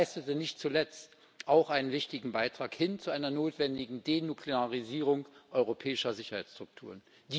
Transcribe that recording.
Er leistete nicht zuletzt auch einen wichtigen Beitrag hin zu einer notwendigen Denuklearisierung europäischer Sicherheitsstrukturen.